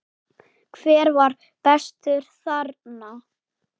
Hver var bestur þarna?